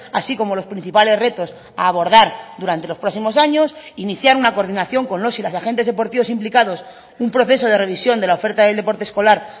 así como los principales retos a abordar durante los próximos años iniciar una coordinación con los y las agentes deportivos implicados un proceso de revisión de la oferta del deporte escolar